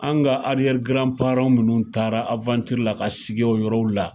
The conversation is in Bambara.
An ka nunnu taara la ka sigi o yɔrɔ la